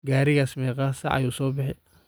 Garigas megaa saac ayu sobixi?